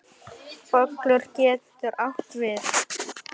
Bolur getur átt við